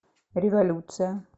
революция